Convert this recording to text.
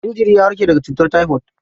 Jinjiri ya warke daga cutar taifod.